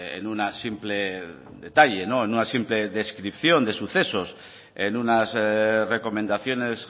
en una simple descripción de sucesos en unas recomendaciones